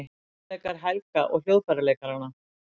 Tónleikar Helga og hljóðfæraleikaranna